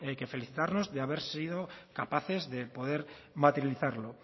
que felicitarnos de haber sido capaces de poder materializarlo